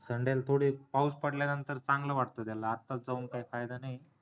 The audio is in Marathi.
sunday ला थोडी पाऊस पडल्या नंतर चांगलं वाटत त्याला आत्ताच जाऊन काही फायदा नाहीये